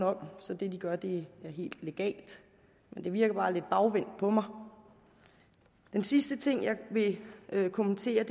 om så det de gør bliver helt legalt men det virker bare lidt bagvendt på mig den sidste ting jeg vil kommentere